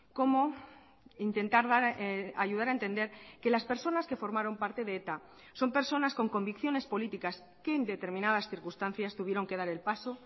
cómo intentar ayudar a entender que las personas que formaron parte de eta son personas con convicciones políticas que en determinadas circunstancias tuvieron que dar el paso